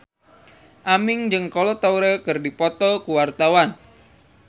Aming jeung Kolo Taure keur dipoto ku wartawan